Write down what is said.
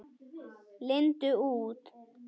Lindu út.